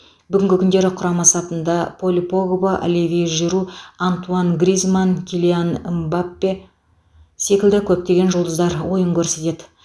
бүгінгі күндері құрама сапында поль погба оливье жиру антуан гризманн килиан мбаппе секілді көптеген жұлдыздар ойын көрсетеді